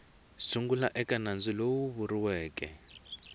sungula eka nandzu lowu vuriweke